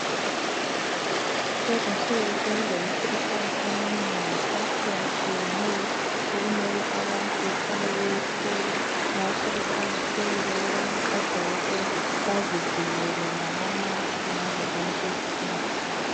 Lezinsuku sokulemikhuhlane eminengi etshiyatshiyeneyo okumele abantu behlalebeyihlola ngakho kuqakathekile ukubana odokotela bazivikele ngamamask ngazo zonki zikhathi.